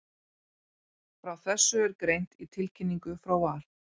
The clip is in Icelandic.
Frá þessu er greint í tilkynningu frá Val.